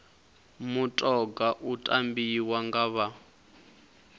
mutoga u tambiwa nga vha